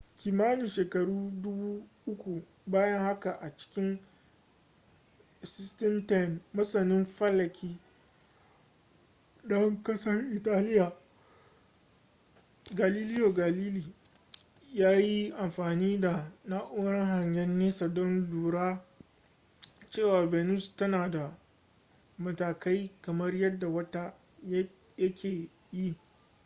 kimanin shekaru dubu uku bayan haka a cikin 1610 masanin falaki ɗan ƙasar italiya galileo galilei ya yi amfani da na'urar hangen nesa don lura cewa venus tana da matakai kamar yadda wata yake yi